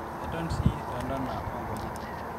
eton sii toontana oonkujit